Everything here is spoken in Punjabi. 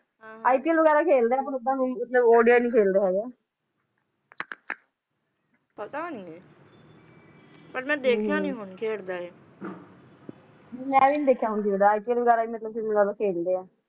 ipl ਵਗੈਰਾ ਖੇਲਦਾ ਪਰ ਓਦਾਂ ਕੁਝ odi ਨਹੀਂ ਖੇਲਦਾ ਹੈਗਾ ਪਤਾ ਨਹੀਂ ਪਰ ਮੈਂ ਦੇਖਿਆ ਨਹੀਂ ਹੁਣ ਖੇਡਦਾ ਹੈ ਨਹੀਂ ਮੈਂ ਵੀ ਨਹੀਂ ਦੇਖਿਆ ਯੁਵਰਾਜ ਸਿੰਘ ਵਗੈਰਾ ਮਤਲਬ ਜਿਆਦਾ ਖੇਲਦਾ ਹੈ